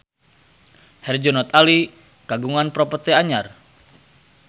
Herjunot Ali kagungan properti anyar